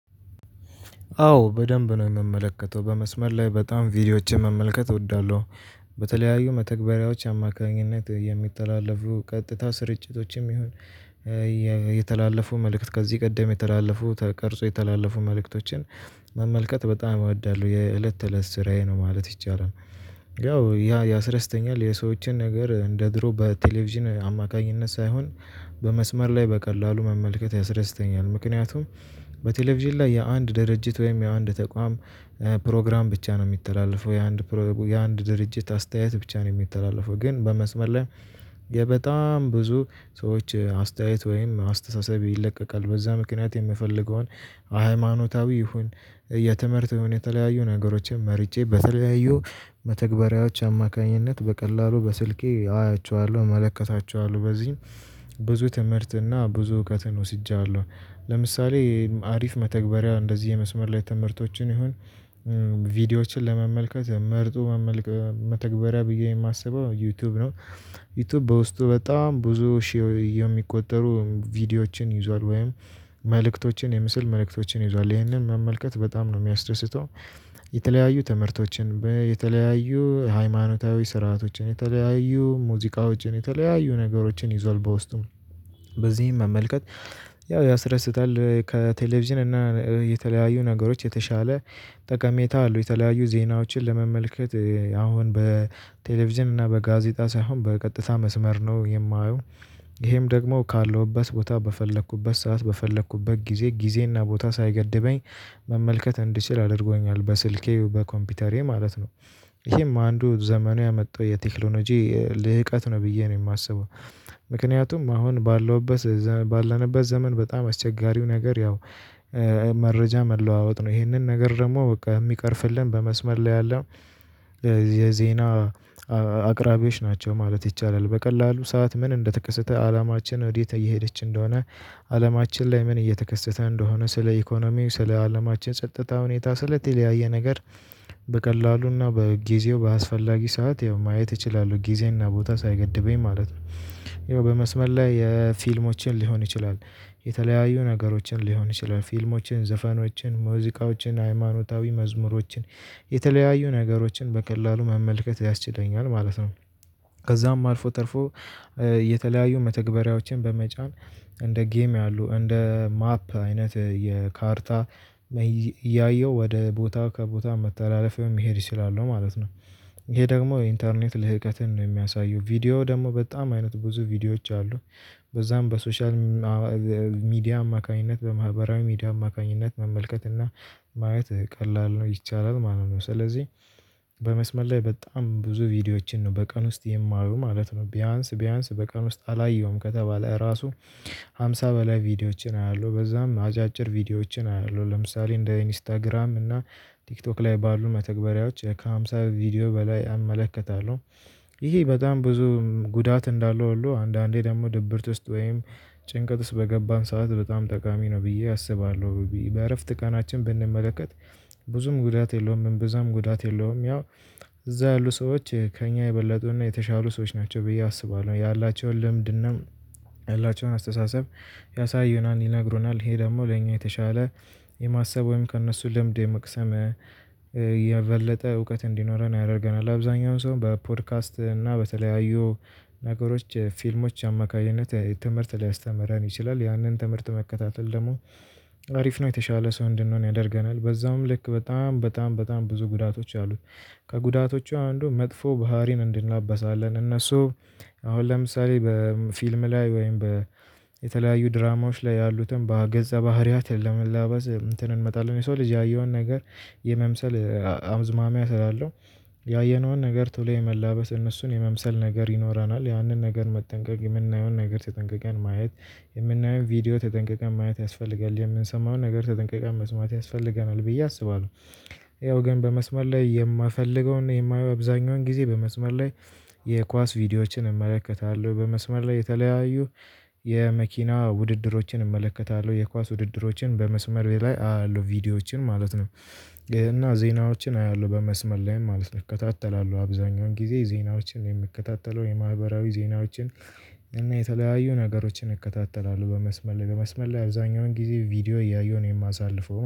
አዎ በደንብ ነው የምመለከተው በመስመር ላይ በጣም ቪዲዮዎችን መመልከት እወዳለሁ። በተለያዩ መተግበሪያዎች አማካኝነት የሚተላለፉ ቀጥታ ስርጭቶችም ይሁን። የተላለፉ መልእክት ከዚህ ቀደም የተላለፉ ተቀርጾ የተላለፉ መልእክቶችን መመልከት በጣም እወዳለሁ የእለት ተእለት ስራዬ ነው ማለት ይቻላል። ያው ያ ያሰደሰተኛል የሰዎችን ነገር እንደ ድሮ በቴሌቪዥን አማካኝነት ሳይሆን በመስመር ላይ በቀላሉ መመልከት ያስደስተኛል። ምክንያቱም በቴሌቪዥን ላይ የአንድ ድርጅት ወይም የአንድ ተቋም ፕሮግራም ብቻ ነው የሚተላለፈው የአንድ የአንድ ድርጅት አስተያየት ብቻ ነው የሚተላለፈው ግን በመስመር ላይ። የ በጣም ብዙ ሰዎች አስተያየት ወይም አስተሳሰብ ይለቀቃል። በዛ ምክንያት የምፈልገውን ሃይማኖታዊ ይሁን የተምህርእት የተለያዩ ነገሮችን መርጬ በተለያዩ መተግበሪያዎች አማካኝነት በቀላሉ በስልኬ አያቸዋለሁ እመለከታቸዋለሁ። በዚህም ብዙ ትምህርት እና ብዙ እውቀትን ወስጃለሁ። ለምሳሌ አሪፍ መተግበሪያ እንደዚህ የመስመር ላይ ትመርቶችን ይሁን ቪዲዮዎችን ለመመልከት መርጦ መመልከት መተግበሪያ ብዬ የማስበው ዩቲዩብ ነው። ዩቲዩብ በውስጡ በጣም ብዙ ሺህ የሚቆጠሩ ቪዲዮዎችን ይዟል ወይም መልእክቶችን የምስል መልእክቶችን ይዟል ይህንን መመልከት በጣም ነው የሚያስደስተው። የተለያዩ ትምህርቶችን የተለያዩ ሃይማኖታዊ ስርዓቶችን የተለያዩ ሙዚቃዎችን የተለያዩ ነገሮችን ይዟል። በውስጡ በዚህም መመልከት ያው ያስረስታል ከቴሌቪዥን እና የተለያዩ ነገሮች የተሻለ። ጠቀሜታ አሉ የተለያዩ ዜናዎችን ለመመልከት አሁን በቴሌቪዥን እና በጋዜጣ ሳይሆን በቀጥታ መስመር ነው የማየው። ይሄም ደግሞ ካለውበት ቦታ በፈለኩበት ሰዓት በፈለኩበት ጊዜ ጊዜና ቦታ ሳይገድበኝ መመልከት እንድችል አድርጎኛል በስልኬ በኮምፒውተሬ ማለት ነው። ይሄም አንዱ ዘመኑ ያመጣው የቴክኖሎጂ ልህቀት ነው ብዬ ነው የማስበው። ምክንያቱም አሁን ባለውበት ባለንበት ዘመን በጣም አስቸጋሪው ነገር ያው መረጃ መለዋወጥ ነው። ይሄንን ነገር ደግሞ በቃ የሚቀርፍልን በመስመር ላይ ያለ የዜና አቅራቢዎች ናቸው ማለት ይቻላል። በቀላሉ ሰዓት ምን እንደተከሰተ አላማችን ወዴት እየሄደች እንደሆነ አላማችን ላይ ምን እየተከሰተ እንደሆነ ስለ ኢኮኖሚው ስለ አለማችን ጸጥታ ሁኔታ ስለተለያየ ነገር። በቀላሉና በጊዜው በአስፈላጊ ሰዓት ያው ማየት እችላለሁ ጊዜና ቦታ ሳይገድበኝ ማለት ነው። ያው በመስመር ላይ የፊልሞችን ሊሆን ይችላል። የተለያዩ ነገሮችን ሊሆን ይችላል ፊልሞችን ዘፈኖችን ሙዚቃዎችን ሃይማኖታዊ መዝሙሮችን የተለያዩ ነገሮችን በቀላሉ መመልከት ያስችለኛል ማለት ነው። ከዛም አልፎ ተርፎ። የተለያዩ መተግበሪያዎችን በመጫን እንደ ጌም ያሉ እንደ ማፕ አይነት የካርታ እያየሁ ወደ ቦታ ከቦታ መተላለፍ መሄድ እችላለው ማለት ነው። ይሄ ደግሞ የኢንተርኔት ልህቀትን የሚያሳዩ ቪዲዮ ደግሞ በጣም አይነት ብዙ ቪዲዮዎች አሉ። በዛም በሶሻል ሚዲያ አማካኝነት በማህበራዊ ሚዲያ አማካኝነት መመልከት እና ማየት ቀላል ነው ይቻላል ማለት ነው። ስለዚህ በመስመር ላይ በጣም ብዙ ቪዲዮዎችን ነው በቀን ውስጥ የማዩ ማለት ነው። ቢያንስ ቢያንስ በቀን ውስጥ አላየሁም ከተባለ ራሱ ሃምሳ በላይ ቪዲዮዎችን አያለሁ በዛም አጫጭር ቪዲዮዎችን አያለሁ ለምሳሌ እንደ ኢንስታግራም እና ቲክቶክ ላይ ባሉ መተግበሪያዎች ከሃምሳ ቪዲዮ በላይ እመለከታለሁ። ይሄ በጣም ብዙ ጉዳት እንዳለው ሁሉ አንዳንዴ ደግሞ ድብርት ውስጥ ወይም ጭንቀት ውስጥ በገባን ሰዓት በጣም ጠቃሚ ነው ብዬ አስባለሁ። በእረፍት ቀናችን ብንመለከት። ብዙም ጉዳት የለውም ብዙም ጉዳት የለውም ያው። እዛ ያሉ ሰዎች ከእኛ የበለጡና የተሻሉ ሰዎች ናቸው ብዬ አስባለሁ። ያላቸውን ልምድናም ያላቸውን አስተሳሰብ ያሳዩናን ይነግሩናል ይሄ ደግሞ ለኛ የተሻለ የማሰብ ወይም ከእነሱ ልምድ የመቅሰም የበለጠ እውቀት እንዲኖረን ያደርገናል። አብዛኛውን ሰው በፖድካስት እና በተለያዩ ነገሮች ፊልሞች አማካኝነት ትምህርት ሊያስተምረን ይችላል። ያንን ትምህርት መከታተል ደግሞ አሪፍ ነው የተሻለ ሰው እንድንሆን ያደርገናል። በዛውም ልክ በጣም በጣም በጣም ብዙ ጉዳቶች አሉት። ከጉዳቶቹ አንዱ መጥፎ ባህሪን እንድናበሳለን እነሱ አሁን ለምሳሌ በፊልም ላይ ወይም በየተለያዩ ድራማዎች ላይ ያሉትን በገጸ ባህሪያት ለመላበስ እንትን እንመጣለን የሰው ልጅ ያየውን ነገር የመምሰል አዝማሚያ ስላለው። ያየነውን ነገር ተሎ የመላበስ እነሱን የመምሰል ነገር ይኖረናል ያንን ነገር መጠንቀቅ የምናየውን ነገር ተጠንቀቀን ማየት የምናየውን ቪዲዮ ተጠንቀቀን ማየት ያስፈልጋል የምንሰማውን ነገር ተጠንቀቃን መስማት ያስፈልገናል ብዬ አስባለሁ። ያው ግን በመስማር ላይ የምፈልገውና የማየው አብዛኛውን ጊዜ በመስመር ላይ። የኳስ ቪዲዮዎችን እመለከታለሁ በመስመር ላይ የተለያዩ የመኪና ውድድሮችን እመለከታለሁ የኳስ ውድድሮችን በመስመሬ ላይ አያለው ቪዲዮዎችን ማለት ነው። እና ዜናዎችን አያለሁ በመስመር ላይም ማለት እከታተላለሁ አብዛኛውን ጊዜ ዜናዎችን የምከታተለው የማህበራዊ ዜናዎችን። እና የተለያዩ ነገሮችን እከታተላለሁ በመስመር ላይ በመስመር ላይ አብዛኛውን ጊዜ ቪዲዮ እያየሁ ነው የማሳልፈው